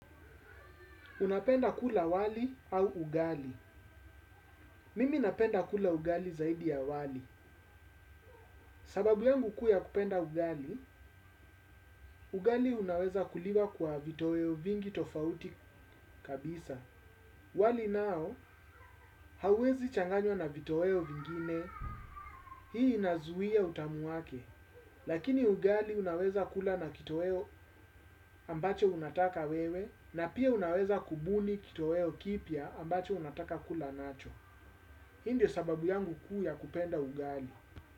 Unapenda kula wali au ugali. Mimi napenda kula ugali zaidi ya wali. Sababu yangu kuu ya kupenda ugali, ugali unaweza kuliwa kwa vitoeo vingi tofauti kabisa. Wali nao hauwezi changanywa na vitoeo vingine. Hii inazuia utamu wake. Lakini ugali unaweza kula na kitoeo ambacho unataka wewe na pia unaweza kubuni kitoeo kipya ambacho unataka kula nacho. Hindio sababu yangu kuu ya kupenda ugali.